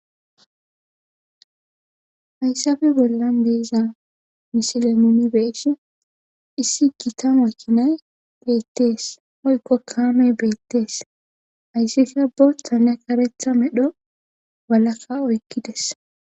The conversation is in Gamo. hayssafe bollan beeza misilemimi beeshi issi gita ma kinay beettees oykko kaamey beettees hayssi kabo tane karetha medho walakka oykkides